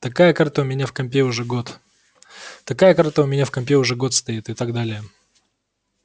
такая карта у меня в компе уже год такая карта у меня в компе уже год стоит и так далее